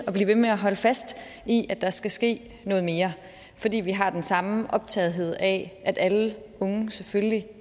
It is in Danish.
blive ved med at holde fast i at der skal ske noget mere fordi vi har den samme optagethed af at alle unge selvfølgelig